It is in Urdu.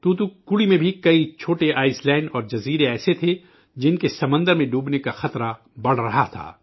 توتوکوڑی میں بھی کئی چھوٹے جزیرے اور ٹاپو ایسے تھے جن کے سمندر میں ڈوبنے کا خطرہ بڑھ رہا تھا